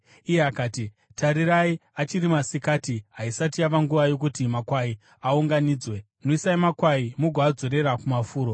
Iye akati, “Tarirai, achiri masikati haisati yava nguva yokuti makwai aunganidzwe. Nwisai makwai mugoadzosera kumafuro.”